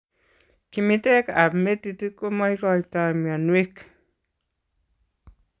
Kimiteek ab metit komaikoitoo mionweek